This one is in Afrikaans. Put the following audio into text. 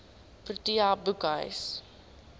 protea boekhuis